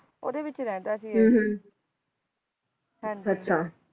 ਉਹਦੇ ਵਿੱਚ ਰਹਿੰਦਾ ਸੀ ਇਹ ਅਹ ਹਾਜੀ ਅੱਛਾ